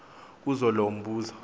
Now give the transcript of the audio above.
kuzo loo mbuzo